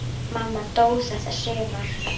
Mamma dó þetta sumar.